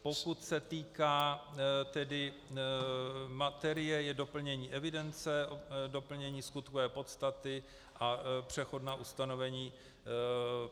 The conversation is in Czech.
Pokud se týká materie, je to doplnění evidence, doplnění skutkové podstaty a přechodná ustanovení.